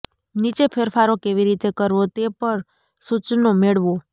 નીચે ફેરફારો કેવી રીતે કરવો તે પર સૂચનો મેળવો